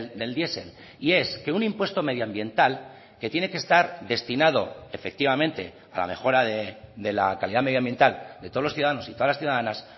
del diesel y es que un impuesto medioambiental que tiene que estar destinado efectivamente a la mejora de la calidad medioambiental de todos los ciudadanos y todas las ciudadanas